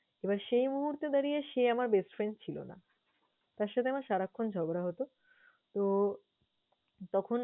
এবার সেই মুহূর্তে দাঁড়িয়ে সে আমার best friend ছিল না। তার সাথে আমার সারাক্ষণ ঝগড়া হত। তো তখন